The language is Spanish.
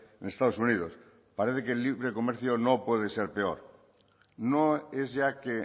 en estados unidos parece que el libre comercio no puede ser peor no es ya que